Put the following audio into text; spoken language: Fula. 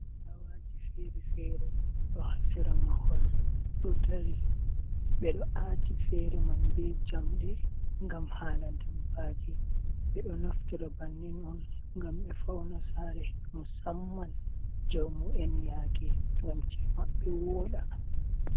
Fulawaji feere-feere ɗo haa sera mahol, ɗo dari. Ɓe ɗo aati feere man bee jamɗe ngam haala dabbaaji. Ɓe ɗo naftira bannin on ngam ɓe fauna saare musamman jaumu en yaake, ngam ci'e maɓɓe wooɗa.